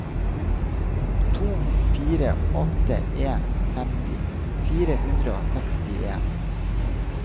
to fire åtte en femti fire hundre og sekstien